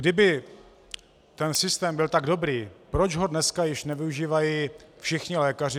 Kdyby ten systém byl tak dobrý, proč ho dneska již nevyužívají všichni lékaři?